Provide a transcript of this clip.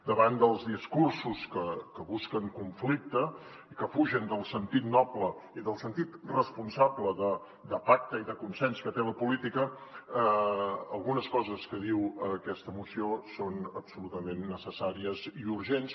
davant dels discursos que busquen conflicte i que fugen del sentit noble i del sentit responsable de pacte i de consens que té la política algunes coses que diu aquesta moció són absolutament necessàries i urgents